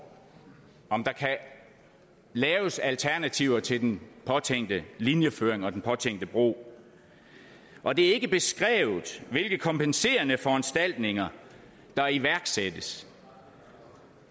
om der kan laves alternativer til den påtænkte linjeføring og den påtænkte bro og det er ikke beskrevet hvilke kompenserende foranstaltninger der iværksættes